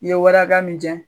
I ye wari hakɛya min cɛn